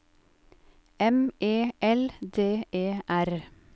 M E L D E R